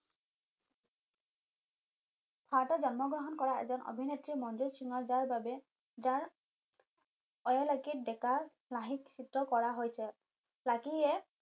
ভাৰতত জন্ম গ্ৰহণ কৰা এজন অভিনেত্ৰী মনজুট সিঙৰ যাৰ বাবে যাৰ অয়েল আৰ্কিদ দেকা চিত্ৰ কৰা হৈছে লাকীয়ে